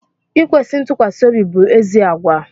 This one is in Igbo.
Ikwesi ntukwasiobi bụ ézì àgwà